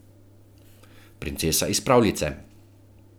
Princesa iz pravljice.